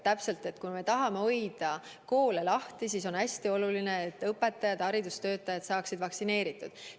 Kui me tahame koole lahti hoida, siis on hästi oluline, et õpetajad ja kõik teised haridustöötajad saaksid vaktsineeritud.